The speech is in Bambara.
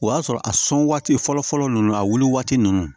O y'a sɔrɔ a sɔn waati fɔlɔ fɔlɔ nunnu a wuli waati nunnu